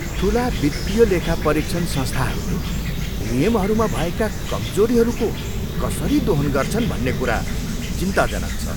ठुला वित्तीय लेखापरीक्षण संस्थाहरूले नियमहरूमा भएका कमजोरीहरूको कसरी दोहन गर्छन् भन्ने कुरा चिन्ताजनक छ।